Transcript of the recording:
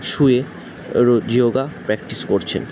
শুয়ে রো yoga practice করছেন।